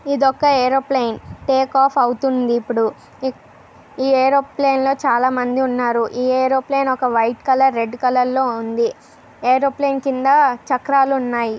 ఇదొక aeroplane take off అవుతుంది ఇపుడు ఈ యూరోప్లైన్ లో చాలా మంది ఉన్నారు ఈ ఎరువుప్లైన్ ఒక వైట్ కలర్ రెడ్ కలర్ లో ఉంది ఎరుప్లైన్ కింద చక్రలున్నాయి.